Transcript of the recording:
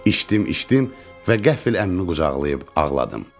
İçdim, içdim və qəfil əmimi qucaqlayıb ağladım.